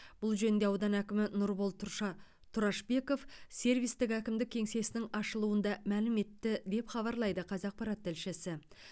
бұл жөнінде аудан әкімі нұрбол тұрша тұрашбеков сервистік әкімдік кеңсесінің ашылуында мәлім етті деп хабарлайды қазақпарат тілшісі